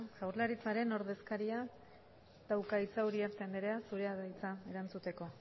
jaurlaritzaren ordezkariak dauka hitza uriarte andrea zurea da hitza erantzuteko